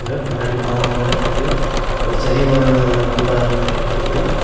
இங்க பின்னாடி மாமரம் இருக்குது ஒரு சரிவான கூடாரம் மாறி இருக்குது.